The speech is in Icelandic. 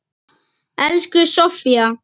Elsku Sofía.